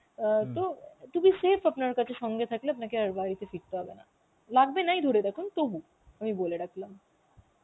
অ্যাঁ তো to be safe আপনার কাছে সঙ্গে থাকলে আপনাকে আর বাড়িতে ফিরতে হবে না, লাগবে নাই ধরে রাখুন তবু আমি বলে রাখলাম.